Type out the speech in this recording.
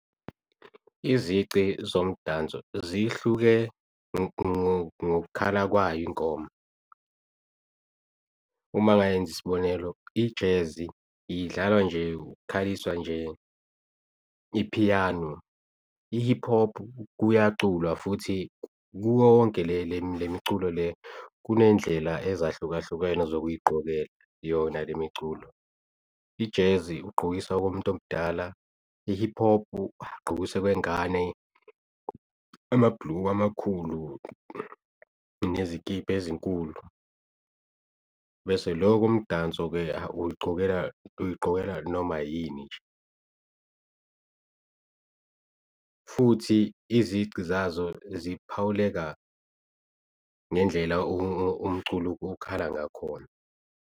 Izici zomdanso zihluke ngok'khala kwayo ingoma. Uma ngayenza isibonelo, i-jazz idlalwa nje ukhaliswa nje ipiyano, i-hip hop kuyaculwa futhi kuwo wonke le nemiculo le kunendlela ezahlukahlukene zokuyigqokela yona le miculo. I-jazz ugqokisa komuntu omdala, i-hip hop ugqokisa kwengane amabhuluku amakhulu nezikibha ezinkulu. Bese loko mdanso-ke awu uy'gqokela noma yini nje. Futhi izici zazo ziphawuleka ngendlela umculo okhala ngakhona.